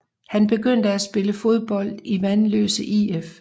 Han begyndte at spille fodbold i Vanløse IF